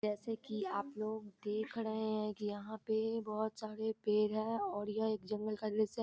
जैसे की आप लोग देख रहे हैं यहां पे बहुत सारे पेड़ है और यह एक जंगल का दृश्य है।